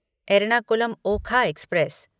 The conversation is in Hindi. एर्नाकुलम ओखा एक्सप्रेस